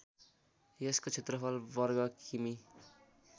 यसको क्षेत्रफल वर्ग किमि